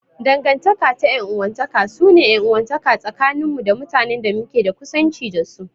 Dangantaka ta 'yan uwantaka su ne 'yan uwantaka tsakanin mu da mutanen da muke da kusanci da su.